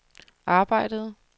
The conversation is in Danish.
arbejdede